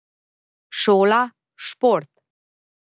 Šola, šport.